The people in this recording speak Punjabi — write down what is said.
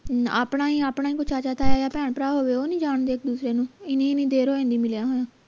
ਆਪਣਾ ਹੀ ਆਪਣਾ ਕੋਈ ਚਾਚਾ ਤਾਇਆ ਜਾਂ ਭੈਣ ਭਰਾ ਹੋਵੇ ਉਹ ਨਹੀਂ ਜਾਣਦੇ ਇਕ ਦੂਸਰੇ ਨੂੰ ਇੰਨੀ ਦੇਰ ਹੋ ਗਈ ਮਿਲੀਆਂ ਨੂੰ